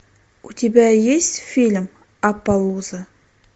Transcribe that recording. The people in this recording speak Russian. у тебя есть фильм аппалуза